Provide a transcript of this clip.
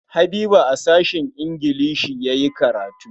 Habiba a sashen ingilishi ya yi karatu.